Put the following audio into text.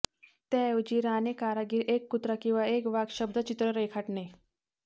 त्याऐवजी राणी कारागीर एक कुत्रा किंवा एक वाघ शब्दचित्र रेखाटणे